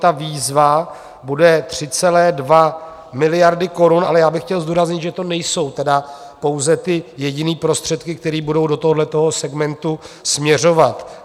Ta výzva bude 3,2 miliardy korun, ale já bych chtěl zdůraznit, že to nejsou tedy pouze jediné prostředky, které budou do tohoto segmentu směřovat.